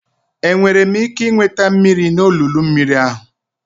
Enwere m ike ị nweta mmiri n'olulu mmiri ahụ?